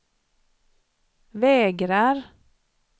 vägrar